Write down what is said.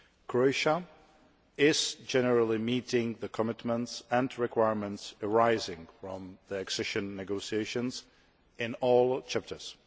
Croatia is generally meeting the commitments and requirements arising from the accession negotiations in all chapters.